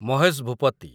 Mahesh Bhupathi